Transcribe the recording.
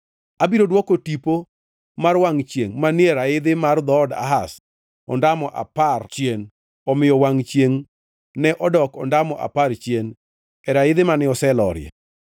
Abiro dwoko tipo mar wangʼ chiengʼ manie raidhi mar dhood Ahaz ondamo apar chien.’ ” Omiyo wangʼ chiengʼ ne odok ondamo apar chien e raidhi mane oselorie.